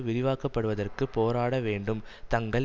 விரிவாக்கப்படுவதற்கு போராட வேண்டும் தங்கள்